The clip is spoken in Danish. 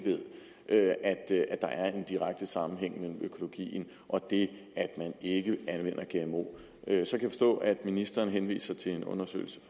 ved at der er en direkte sammenhæng mellem økologien og det at man ikke anvender gmo så kan ministeren henviser til en undersøgelse